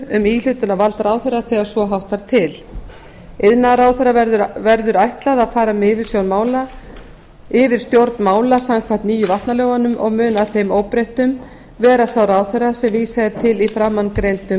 um íhlutunarvald ráðherra þegar svo háttar til iðnaðarráðherra verður ætlað að fara með yfirstjórn mála samkvæmt nýju vatnalögunum og mun að þeim óbreyttum vera sá ráðherra sem vísað er til í framangreindum